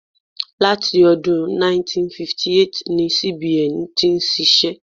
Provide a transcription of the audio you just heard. Láti ọdún 1958 ni CBN ti ń ṣiṣẹ́.